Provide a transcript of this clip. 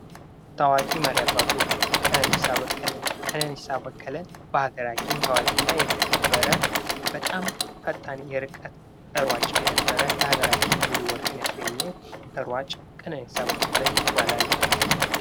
ታዋቂ መሪ አባዎች፦ ቀነኒሳ በቀለ፦ ቀነኒሳ በቀለ በሀገራችን ታዋቂና የተከበረ በጣም ፈጣን የርቀት ሯጭ የነበረ ለሀገራችን ብዙ ወርቅን ያስገኘ ሯጭ ቀነኒሳ በቀለ ይባላል።